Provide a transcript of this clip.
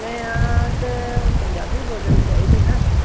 ਤੇ ਪੰਜਾਬੀ ਬੋਲਣੀ ਚਾਹੀਦੀ ਹੈ ਨਾ।